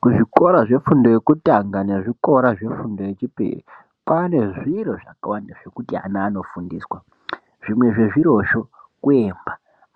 Kuzvikora zvefundo yekutanga nezvikora zvefundo yechipiri, kwaane zviro zvekushandisa zvakawanda, zvimwe zvezvirozvo kuemba.